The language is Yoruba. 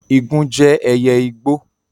Igún jẹ́ ẹyẹ igbó.